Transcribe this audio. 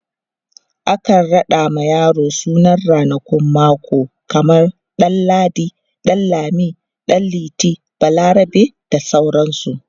akan raɗa ma yaro sunan ranakun mako kaman ɗan ladi, ɗan lami, ɗan liti, balarabe, bda sauransu